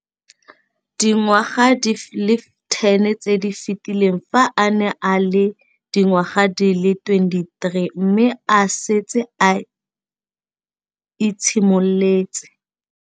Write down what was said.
Dingwaga di le 10 tse di fetileng, fa a ne a le dingwaga di le 23 mme a setse a itshimoletse